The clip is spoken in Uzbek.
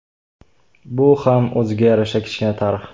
Bu ham o‘ziga yarasha kichkina tarix.